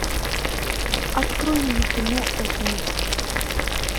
открой мне кино отмель